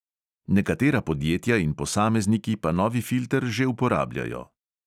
Nekatera podjetja in posamezniki pa novi filter že uporabljajo.